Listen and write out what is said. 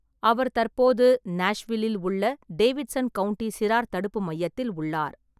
அவர் தற்போது நாஷ்வில்லில் உள்ள டேவிட்சன் கவுண்டி சிறார் தடுப்பு மையத்தில் உள்ளார்.